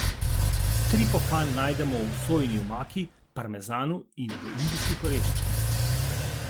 Triptofan najdemo v sojini moki, parmezanu in v indijskih oreščkih.